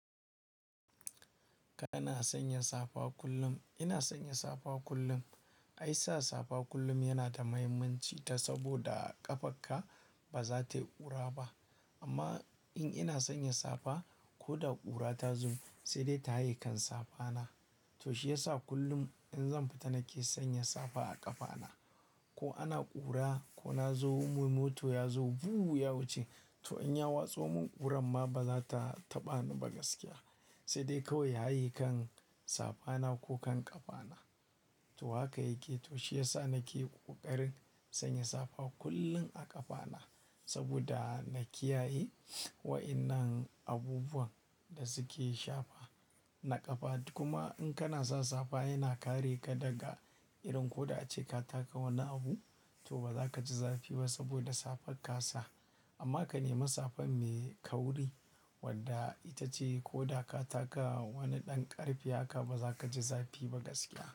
Kana sanya safa kullum. Ina sanya safa kullum. Ai sa safa kullum yana da mahimmanci, ta saboda ƙafarka ba za ta yi ƙura ba. Amma in ina sanya safa, ko da ƙura ta zo sai dai ta haye kan safana. To shi yasa kullum in zan fita nake sanya safa a ƙafana. Ko ana ƙura, ko na zo mota ya zo buuu ya wuce, to in ya watso mun ƙuran ma ba za ta taɓa ni ba gaskiya. Sai dai kawai ya haye kan safana, ko kan ƙafana. To haka yake. To shi yasa nake ƙoƙarin sanya safa kullum a ƙafana saboda na kiyaye wa'innan abubuwan da suke shafa na ƙafa. Kuma in kana sa safa yana kare ka daga irin ko da ace ka taka wani abu to ba za ka ji zafi ba saboda safarka sa. Amma ka nemi safan mai kauri, wadda ita ce ko da ka taka wani ɗan ƙarfi haka ba za ka ji zafi ba gaskiya.